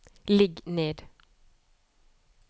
ligg ned